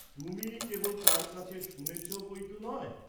তুমি কেবল তার কাছে শুনেছ বই ত নয়।